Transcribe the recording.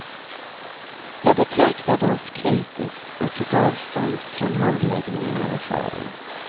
Jag betraktade oss kritiskt och tog avstånd från handläggningen av affären.